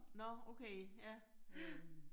Nåh okay, ja, ja